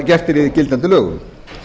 gert sé í gildandi lögum